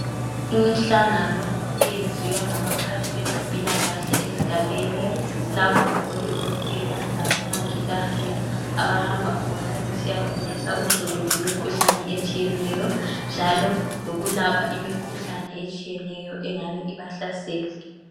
Imihlangano eyenziwa ngabaphathi abezempilakahle lapho abodokotela labomongikazi abahamba besiyafundisa uzulu ngemikhuhlane etshiyeneyo njalo lokulapha imikhuhlane etshiyeneyo engabe ibahlasela